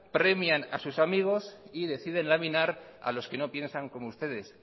premian a sus amigos y deciden laminar a los que no piensan como ustedes